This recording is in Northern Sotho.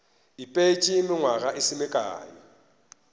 ipeetše nywaga e se mekae